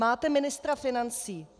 Máte ministra financí.